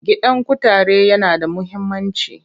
Gidan kutare yana da muhimmanci.